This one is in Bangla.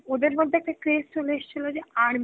ওদের মধ্যে একটা craze চলে এসেছিল যে army